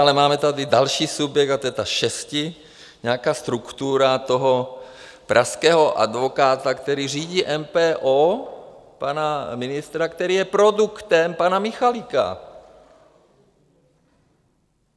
Ale máme tady další subjekt a to je ta šesti-nějaká struktura toho pražského advokáta, který řídí MPO, pana ministra, který je produktem pana Michalika.